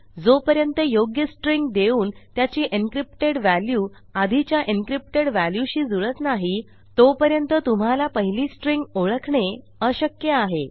जोपर्यंत योग्य स्ट्रिंग देऊन त्याची encryptedव्हॅल्यू आधीच्या एन्क्रिप्टेड व्हॅल्यूशी जुळत नाही तोपर्यंत तुम्हाला पहिली स्ट्रिंग ओळखणे अशक्य आहे